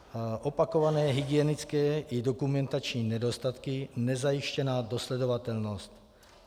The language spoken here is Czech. Opakované hygienické i dokumentační nedostatky, nezajištěná dosledovatelnost.